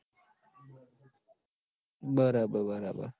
બરાબર બરાબર